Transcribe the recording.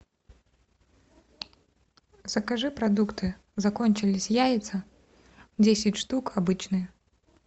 закажи продукты закончились яйца десять штук обычные